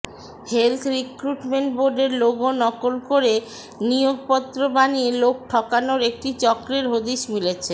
health recruitment বোর্ডের logo নকল করে নিয়োগপত্র বানিয়ে লোক ঠকানোর একটি চক্রের হদিস মিলেছে